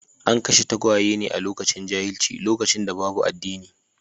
An kashe tagwaye ne a lokacin jahilci, lokacin da babu addini.